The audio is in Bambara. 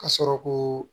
Ka sɔrɔ koo